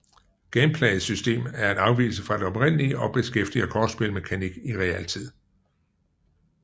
Gameplayets system er en afvigelse fra den oprindelige og beskæftiger kortspil mekanik i realtid